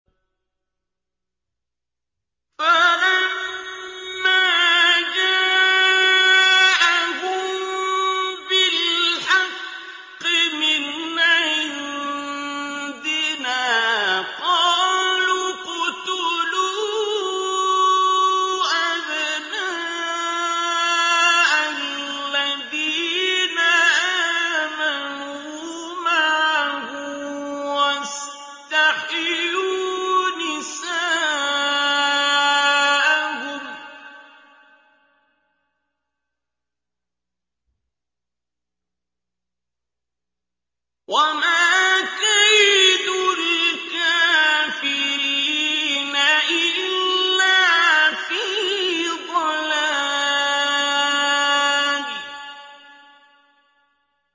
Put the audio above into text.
فَلَمَّا جَاءَهُم بِالْحَقِّ مِنْ عِندِنَا قَالُوا اقْتُلُوا أَبْنَاءَ الَّذِينَ آمَنُوا مَعَهُ وَاسْتَحْيُوا نِسَاءَهُمْ ۚ وَمَا كَيْدُ الْكَافِرِينَ إِلَّا فِي ضَلَالٍ